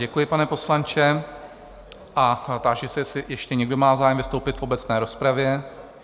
Děkuji, pane poslanče, a táži se, jestli ještě někdo má zájem vystoupit v obecné rozpravě?